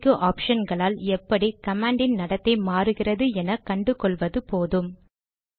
இப்போதைக்கு ஆப்ஷன்களால் எப்படி கமாண்டின் நடத்தை மாறுகிறது என கண்டு கொள்வது போதும்